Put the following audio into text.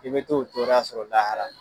I bɛ t'o tɔrɔya sɔrɔ lahara.